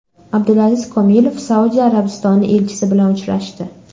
Abdulaziz Komilov Saudiya Arabistoni elchisi bilan uchrashdi.